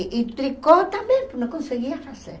E tricô também, porque não conseguia fazer.